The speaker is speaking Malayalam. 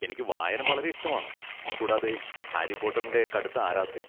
എനിക്ക് വായന വളരെ ഇഷ്ടമാണ്, കൂടാതെ ഹാരി പോട്ടറിന്റെ കടുത്ത ആരാധകൻ.